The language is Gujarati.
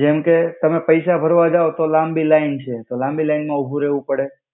જેમ-કે, તમે પૈસા ભર્વા જાવ તો લામ્બિ લાઇન છે તો લામ્બિ લાઇન મા ઉભુ રેવુ પડે.